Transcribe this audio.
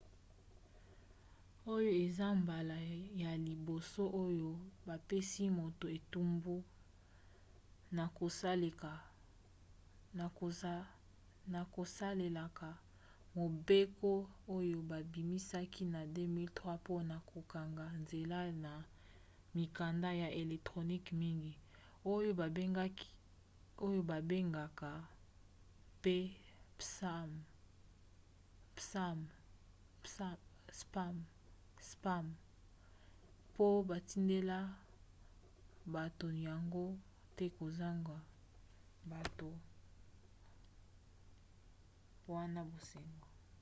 oyo eza mbala ya liboso oyo bapesi moto etumbu na kosalelaka mobeko oyo babimisaki na 2003 mpona kokanga nzela na mikanda ya electronique mingi oyo babengaka mpe spam mpo batindela bato yango te kozanga bato wana basenga